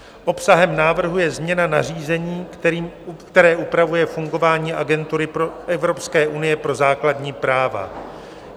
Obsahem návrhu je změna nařízení, které upravuje fungování Agentury Evropské unie pro základní práva.